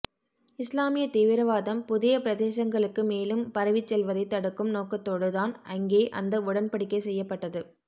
இஸ்லாமிய தீவிரவாதம் புதிய பிரதேசங்களுக்கு மேலும் பரவிச் செல்வதை தடுக்கும் நோக்கத்தோடு தான் அங்கே அந்த உடன்படிக்கை செய்யப்பட்டது